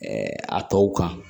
a tɔw kan